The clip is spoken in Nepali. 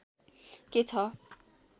के छ